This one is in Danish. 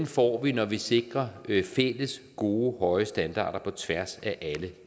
får vi når vi sikrer fælles gode høje standarder på tværs af alle